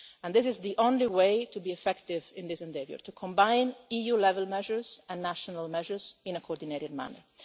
This is the only way to be effective in this endeavour to combine EU-level measures and national measures in a coordinated manner.